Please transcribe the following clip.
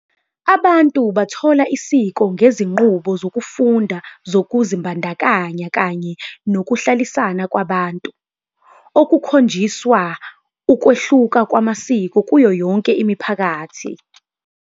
Abantu bathola isiko ngezinqubo zokufunda zokuzibandakanya kanye nokuhlalisana kwabantu, okukhonjiswa ukwehluka kwamasiko kuyo yonke imiphakathi.